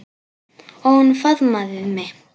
Og hún faðmaði mig.